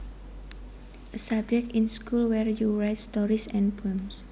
A subject in school where you write stories and poems